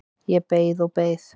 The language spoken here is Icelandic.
Ég beið og beið.